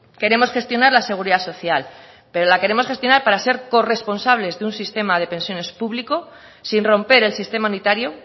queremos gestionar la seguridad social pero la queremos gestionar para ser corresponsables de un sistema de pensiones público sin romper el sistema unitario